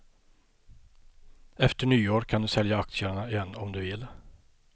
Efter nyår kan du sälja aktierna igen om du vill.